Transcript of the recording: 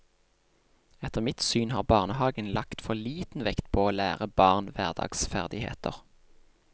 Etter mitt syn har barnehagen lagt for liten vekt på å lære barn hverdagsferdigheter.